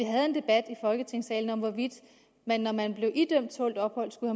folketingssalen om hvorvidt man når man blev idømt tålt ophold skulle